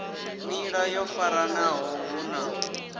nḓila yo faranaho hu na